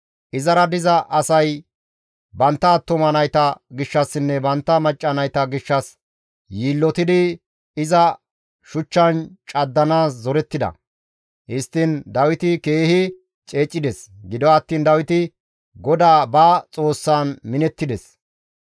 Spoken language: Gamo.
Izara diza asay bantta attuma nayta gishshassinne bantta macca nayta gishshas yiillotidi iza shuchchan caddanaas zorettida; histtiin Dawiti keehi ceecides; gido attiin Dawiti GODAA ba Xoossaan minettides.